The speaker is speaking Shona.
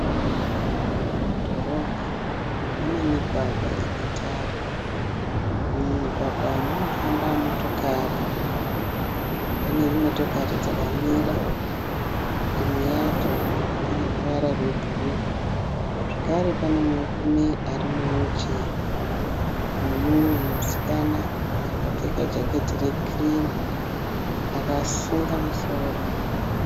Mudhorobha mune migwagwa ine tara. Mumugwagwa munofamba motokari. Pane motokari dzakamira imwe yacho ine ruvara rwebhuru zvakare pane murume ari muhwiricheya nemumwe musikana akapfeka jaketi rekirimu akasunga musoro.